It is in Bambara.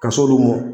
Ka s'olu mɔ